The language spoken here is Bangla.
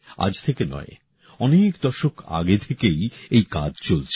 আজ থেকে নয় অনেক দশক আগে থেকেই এই কাজ চলছে